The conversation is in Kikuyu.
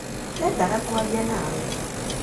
Ndendaga kwaria nawe.